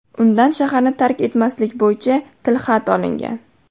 Undan shaharni tark etmaslik bo‘yicha tilxat olingan.